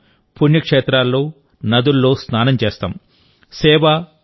ఈ రోజు మనం పుణ్యక్షేత్రాల్లో నదుల్లో స్నానం చేస్తాం